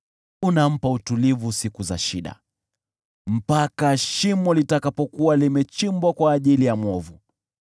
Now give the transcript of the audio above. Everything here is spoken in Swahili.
unampa utulivu siku za shida, mpaka shimo litakapokuwa limechimbwa kwa ajili ya mwovu.